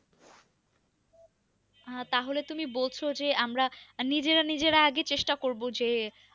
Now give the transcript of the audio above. আহ তাহলে তুমি বলছো যে আমরা নিজেরা নিজেরা আগে চেষ্টা করবো যে